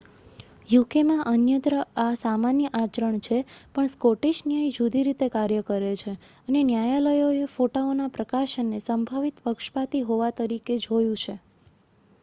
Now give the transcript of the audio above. યુકેમાં અન્યત્ર આ સામાન્ય આચરણ છે પણ સ્કૉટિશ ન્યાય જુદી રીતે કાર્ય કરે છે અને ન્યાયાલયોએ ફોટાઓના પ્રકાશનને સંભવિત પક્ષપાતી હોવા તરીકે જોયું છે